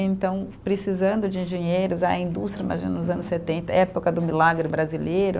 Então, precisando de engenheiros, a indústria, imagina, nos anos setenta, época do milagre brasileiro.